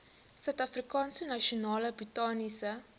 suidafrikaanse nasionale botaniese